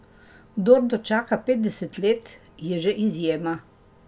Kdor dočaka petdeset let, je že izjema.